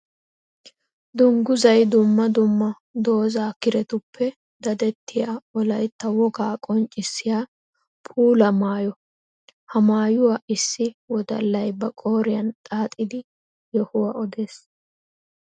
Dungguzay dumma dumma dooza kirettuppe daddettiya wolaytta wogaa qonccissiya puula maayo. Ha maayuwa issi wodallay ba qooriyan xaaxxiddi yohuwa odees.